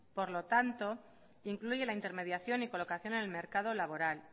por lo tanto incluye la intermediación y colocación en el mercado laboral